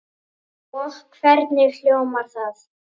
Og hvernig hljómar það?